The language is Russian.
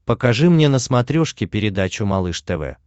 покажи мне на смотрешке передачу малыш тв